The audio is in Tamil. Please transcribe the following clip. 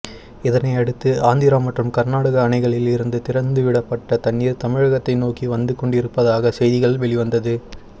இதனையடுத்து ஆந்திரா மற்றும் கர்நாடகா அணைகளில் இருந்து திறந்துவிடப்பட தண்ணீர் தமிழகத்தை நோக்கி வந்து கொண்டிருப்பதாக செய்திகள் வெளிவந்தது